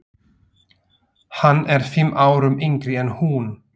Hann er fimm árum yngri en hún.